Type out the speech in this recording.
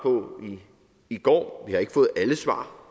i går vi har ikke fået svar